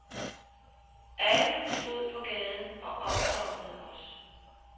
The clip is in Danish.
Alle stod på gaden og omfavnede os.